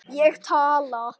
Ég tala.